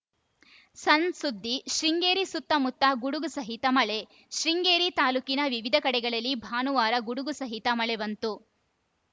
ಸಣ್‌ ಸುದ್ದಿ ಶೃಂಗೇರಿ ಸುತಮುತ್ತ ಗುಡುಗು ಸಹಿತ ಮಳೆ ಶೃಂಗೇರಿ ತಾಲೂಕಿನ ವಿವಿಧ ಕಡೆಗಳಲ್ಲಿ ಭಾನುವಾರ ಗುಡುಗು ಸಹಿತ ಮಳೆ ಬಂತು